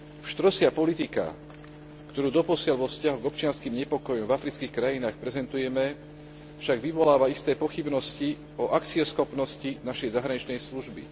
Pštrosia politika, ktorú doposiaľ vo vzťahu k občianskym nepokojom v afrických krajinách prezentujeme, však vyvoláva isté pochybnosti o akcieschopnosti našej zahraničnej služby.